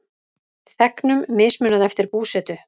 Þegnum mismunað eftir búsetu